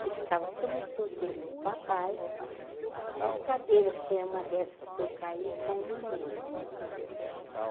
que ficava a cama de solteiro do papai, as cadeiras que eram uma dessas que eu caí com uma mesa.